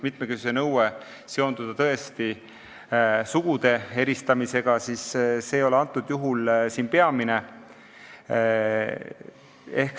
Mitmekesisuse nõue võib esmalt tõesti seonduda sugude eristamisega, kuid see ei ole antud juhul peamine.